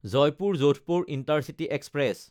Jaipur-Jodhpur intercity express